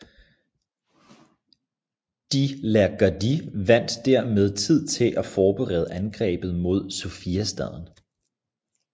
De la Gardie vandt hermed tid til at forberede angrebet mod Sofiastaden